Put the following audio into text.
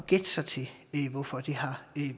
gætte sig til hvorfor det har